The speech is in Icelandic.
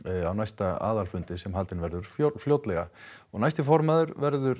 á næsta aðalfundi sem haldinn verður fljótlega næsti formaður verður